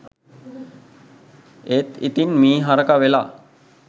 ඒත් ඉතින් මී හරකා වෙලා